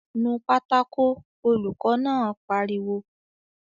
"Nu pátákó!" Olùkọ́ náà pariwo